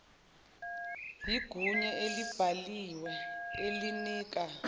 yigunya elibhaliwe elinika